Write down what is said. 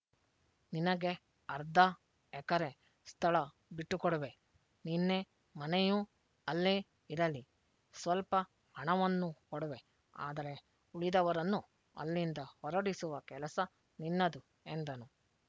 ನಿನಗೆ ಅರ್ಧ ಎಕರೆ ಸ್ಥಳ ಬಿಟ್ಟುಕೊಡುವೆ ನಿನ್ನೆ ಮನೆಯೂ ಅಲ್ಲೆ ಇರಲಿ ಸ್ವಲ್ಪ ಹಣವನ್ನೂ ಕೊಡುವೆ ಆದರೆ ಉಳಿದವರನ್ನು ಅಲ್ಲಿಂದ ಹೊರಡಿಸುವ ಕೆಲಸ ನಿನ್ನದು ಎಂದನು